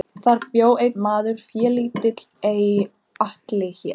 Þar bjó einn maður félítill er Atli hét.